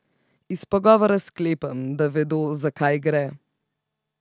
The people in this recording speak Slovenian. Iz pogovora sklepam, da vedo, za kaj gre.